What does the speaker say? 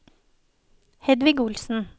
Hedvig Olsen